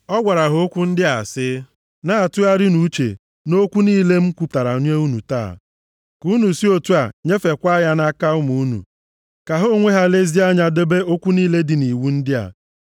ọ gwara ha okwu ndị a sị, “Na-atụgharịnụ uche nʼokwu niile m kwupụtara nye unu taa, ka unu si otu a nyefeekwa ya nʼaka ụmụ unu, ka ha onwe ha lezie anya debe okwu niile dị nʼiwu ndị a.